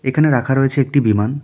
এখানে রাখা রয়েছে একটি বিমান।